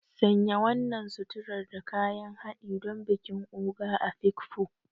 Sanya wannan suturar da kayan haɗi don bikin Ogo Afikpo.